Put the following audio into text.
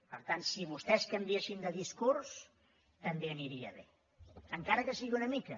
per tant si vostès canviessin de discurs també aniria bé encara que sigui una mica